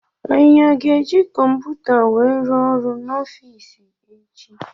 Anyị aga eji kọmputa wee rụọ ọrụ n'ofici echi?